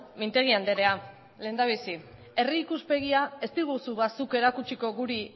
mintegi andrea lehendabizi herri ikuspegia ez diguzu ba zuk erakutsiko guri